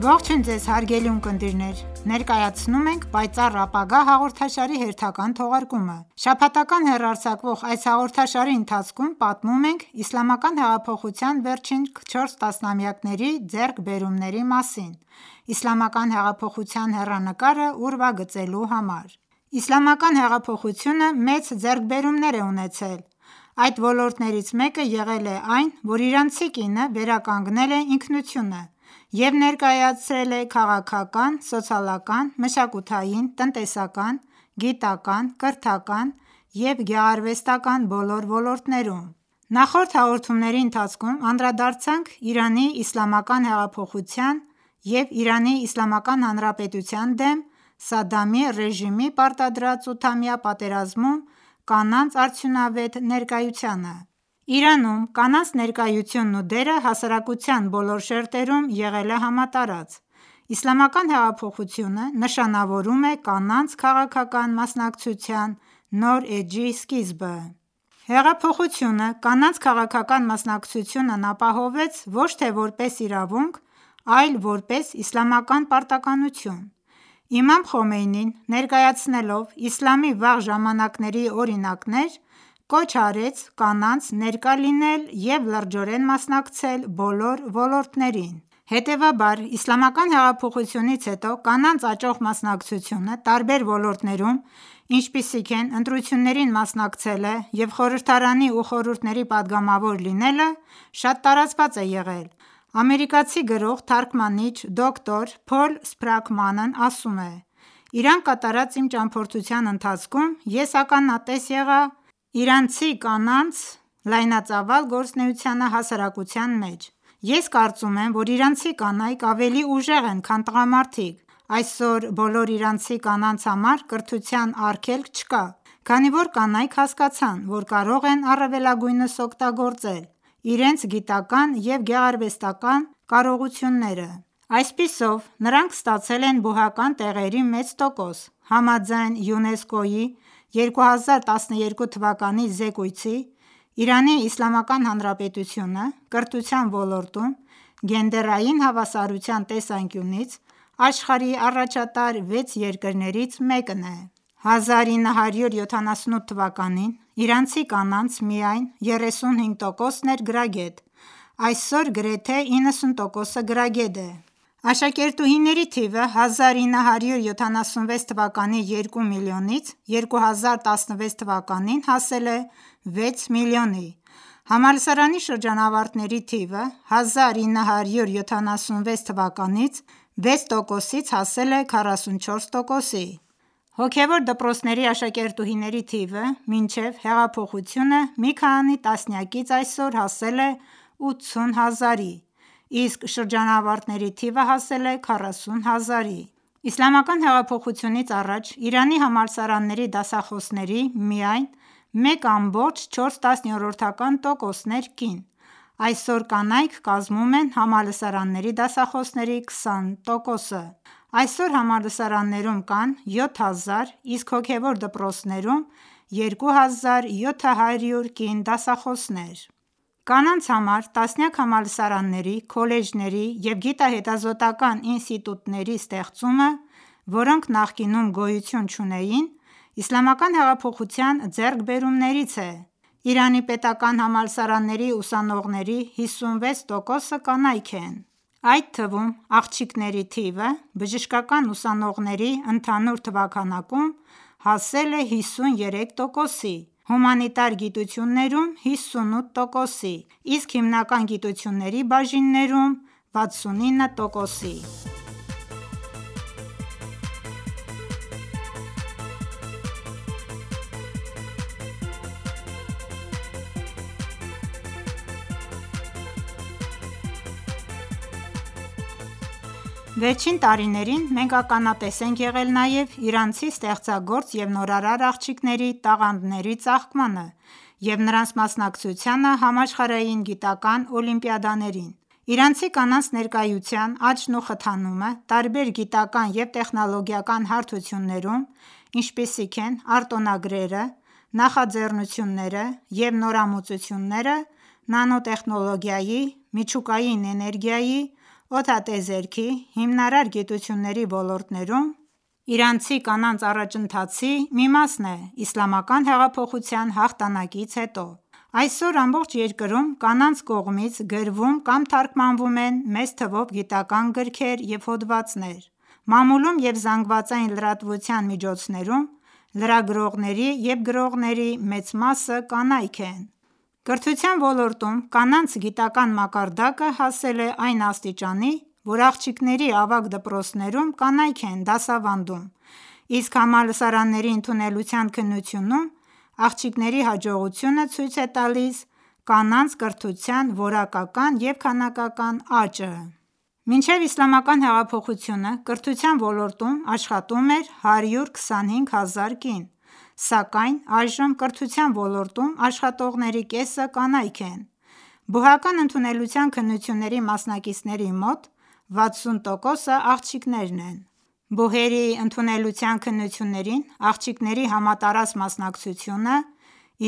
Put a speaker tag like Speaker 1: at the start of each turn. Speaker 1: Ողջույն Ձեզ, հարգելի ունկնդիրներ: Ներկայացնում ենք «Պայծառ ապագա» հաղորդաշարի հերթական թողարկումը: Շաբաթական հեռարձակվող այս հաղորդաշարի ընթացքում պատմում ենք Իսլամական հեղափոխության վերջին 4 տասնամյակների ձեռքբերումների մասին՝ Իսլամական հեղափոխության հեռանկարը ուրվագծելու համար։ Իսլամական հեղափոխությունը մեծ ձեռքբերումներ է ունեցել: Այդ ոլորտներից մեկը եղել է այն, որ իրանցի կինը վերականգնել է ինքնությունը և ներկայացել է քաղաքական, սոցիալական, մշակութային, տնտեսական, գիտական, կրթական և գեղարվեստական բոլոր ոլորտներում: Նախորդ հաղորդումների ընթացքում անդրադարձանք Իրանի Իսլամական հեղափոխության և ԻԻՀ դեմ Սադդամի ռեժիմի պարտադրած ութամյա պատերազմում կանանց արդյունավետ ներկայությանը։ Իրանում կանանց ներկայությունն ու դերը հասարակության բոլոր շերտերում եղել է համատարած: Իսլամական հեղափոխությունը նշանավորում է կանանց քաղաքական մասնակցության նոր էջի սկիզբը: Հեղափոխությունը կանանց քաղաքական մասնակցությունն ապահովեց ոչ թե որպես իրավունք, այլ որպես իսլամական պարտականություն: Իմամ Խոմեյնին, ներկայացնելով իսլամի վաղ ժամանակների օրինակներ, կոչ արեց կանանց ներկա լինել և լրջորեն մասնակցել բոլոր ոլորտներին։ Հետևաբար, Իսլամական հեղափոխությունից հետո կանանց աճող մասնակցությունը տարբեր ոլորտներում, ինչպիսիք են ընտրություններին մասնակցելը և խորհրդարանի ու խորհուրդների պատգամավոր լինելը, շատ տարածված է եղել: Ամերիկացի գրող, թարգմանիչ՝ դոկտոր Փոլ Սփրաքմանն ասում է. «Իրան կատարած իմ ճանապարհորդության ընթացքում ես ականատես եղա իրանցի կանանց լայնածավալ գործունեությանը հասարակության մեջ... Ես կարծում եմ, որ իրանցի կանայք ավելի ուժեղ են, քան տղամարդիկ»: Այսօր բոլոր իրանցի կանանց համար կրթության արգելք չկա, քանի որ կանայք հասկացան, որ կարող են առավելագույնս օգտագործել իրենց գիտական և գեղարվեստական կարողությունները։ Այսպիսով, նրանք ստացել են բուհական տեղերի մեծ տոկոս։ Համաձայն ՅՈՒՆԵՍԿՕ-ի 2012 թվականի զեկույցի՝ Իրանի Իսլամական Հանրապետությունը կրթության ոլորտում գենդերային հավասարության տեսանկյունից աշխարհի առաջատար վեց երկրներից մեկն է: 1978 թվականին իրանցի կանանց միայն 35%-ն էր գրագետ, այսօր գրեթե 90%-ը գրագետ է։ Աշակերտուհիների թիվը 1976 թվականի երկու միլիոնից 2016 թվականին հասել է 6 միլիոնի։ Համալսարանի շրջանավարտների թիվը 1976-ի 6%-ից հասել է 44%-ի: Հոգևոր դպրոցների աշակերտուհիների թիվը մինչև հեղափոխությունը մի քանի տասնյակից այսօր հասել է 80000-ի, իսկ շրջանավարտների թիվը հասել է 40000-ի: Իսլամական հեղափոխությունից առաջ Իրանի համալսարանների դասախոսների միայն 1,4%-ն էր կին, այսօր կանայք կազմում են համալսարանների դասախոսների 20%-ը։ Այսօր համալսարաններում կան 7000, իսկ հոգևոր դպրոցներում 2700 կին դասախոսներ: Կանանց համար տասնյակ համալսարանների, քոլեջների և գիտահետազոտական ինստիտուտների ստեղծումը, որոնք նախկինում գոյություն չունեին, Իսլամական հեղափոխության ձեռքբերումներից է։ Իրանի պետական համալսարանների ուսանողների 56%-ը կանայք են. Այդ թվում աղջիկների թիվը բժշկական ուսանողների ընդհանուր թվաքանակում հասել է 53%-ի, հումանիտար գիտություններում՝ 58%-ի, իսկ հիմնական գիտությունների բաժիններում՝ 69%-ի։ Վերջին տարիներին մենք ականատես ենք եղել նաև իրանցի ստեղծագործ և նորարար աղջիկների տաղանդների ծաղկմանը և նրանց մասնակցությանը համաշխարհային գիտական օլիմպիադաներին։ Իրանցի կանանց ներկայության աճն ու խթանումը տարբեր գիտական և տեխնոլոգիական հարթություններում, ինչպիսիք են արտոնագրերը, նախաձեռնությունները և նորամուծությունները նանոտեխնոլոգիայի, միջուկային էներգիայի, օդատիեզերքի, հիմնարար գիտությունների ոլորտներում, իրանցի կանանց առաջընթացի մի մասն է իսլամական հեղափոխության հաղթանկից հետո։ Այսօր ամբողջ երկրում կանանց կողմից գրվում կամ թարգմանվում են մեծ թվով գիտական գրքեր և հոդվածներ: Մամուլում և զանգվածային լրատվության միջոցներում լրագրողների և գրողների մեծ մասը կանայք են։ Կրթության ոլորտում կանանց գիտական մակարդակը հասել է այն աստիճանի, որ աղջիկների ավագ դպրոցներում կանայք են դասավանդում, իսկ համալսարանների ընդունելության քննությունում աղջիկների հաջողությունը ցույց է տալիս կանանց կրթության որակական և քանակական աճը։ Մինչ Իսլամական հեղափոխությունը կրթության ոլորտում աշխատում էր 125 հազար կին, սակայն այժմ կրթության ոլորտում աշխատողների կեսը կանայք են։ Բուհական ընդունելության քննությունների մասնակիցների մոտ 60%-ը աղջիկներ են։ Բուհերի ընդունելության քննություններին աղջիկների համատարած մասնակցությունը